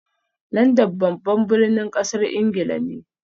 London babban birnin kasar Ingila ne